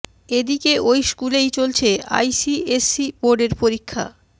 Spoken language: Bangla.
এ দিকে ওই স্কুলেই চলছে আইসিএসই বোর্ডের পরীক্ষা